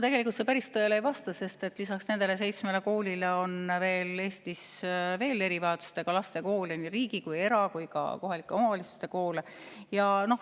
Tegelikult see päris tõele ei vasta, sest lisaks nendele seitsmele koolile on Eestis veel erivajadustega laste koole, nii riigi‑, era‑ kui ka kohalike omavalitsuste koole.